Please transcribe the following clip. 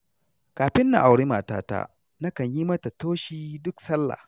Kafin na auri matata, nakan yi mata toshi duk sallah.